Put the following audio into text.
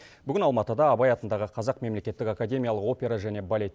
бүгін алматыда абай атындағы қазақ мемлекеттік академиялық опера және балет